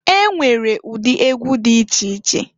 E nwere ụdị egwu di iche iche.